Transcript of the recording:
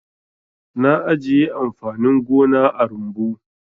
Na ajiye amfanin gona a rumbu.